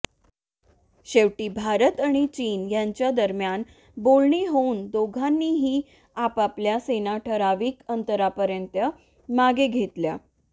शेवटी भारत आणि चीन यांच्या दरम्यान बोलणी होऊन दोघांनीही आपापल्या सेना ठरावीक अंतरापर्यंत मागे घेतल्या